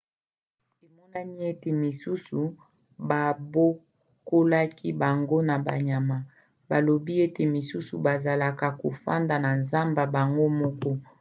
emonani ete misusu babokolaki bango na banyama; balobi ete misusu bazalaka kofanda na zamba bango moko